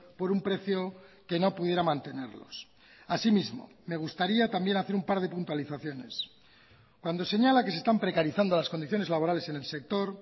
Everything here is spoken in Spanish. por un precio que no pudiera mantenerlos así mismo me gustaría también hacer un par de puntualizaciones cuando señala que se están precarizando las condiciones laborales en el sector